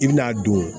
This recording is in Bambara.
I bi n'a don